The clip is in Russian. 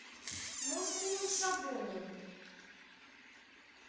муслим шабунин